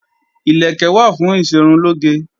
Ìlẹ̀kẹ̀ wà fún ìṣerunlóge